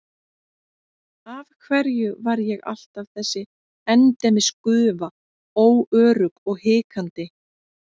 Af hverju var ég alltaf þessi endemis gufa, óörugg og hikandi?